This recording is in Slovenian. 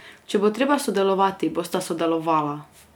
Če bo treba sodelovati, bosta sodelovala!